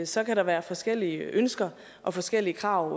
så kan være forskellige ønsker og forskellige krav